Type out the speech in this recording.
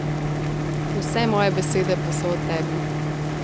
Vse moje besede pa so o tebi.